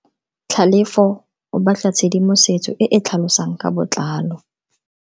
Tlhalefo o batla tshedimosetso e e tlhalosang ka botlalo.